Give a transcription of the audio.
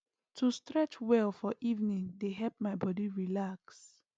to stretch well for evening dey help my body relax